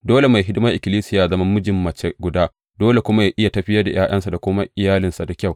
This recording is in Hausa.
Dole mai hidimar ikkilisiya yă zama mijin mace guda dole kuma yă iya tafiyar da ’ya’yansa da kuma iyalinsa da kyau.